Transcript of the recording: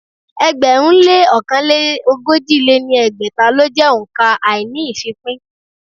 ẹgbẹ̀rún lé ọ̀kan lé ogójì lé ní ẹgbẹ́ta lọ jẹ́ òǹkà àíní-ìfípín.